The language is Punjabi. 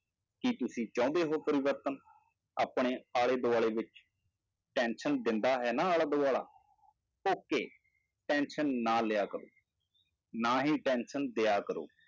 ਕੀ ਤੁਸੀਂ ਚਾਹੁੰਦੇ ਹੋ ਪਰਿਵਰਤਨ ਆਪਣੇ ਆਲੇ ਦੁਆਲੇ ਵਿੱਚ tension ਦਿੰਦਾ ਹੈ ਨਾ ਆਲਾ ਦੁਆਲਾ okay tension ਨਾ ਲਿਆ ਕਰੋ, ਨਾ ਹੀ tension ਦਿਆ ਕਰੋ।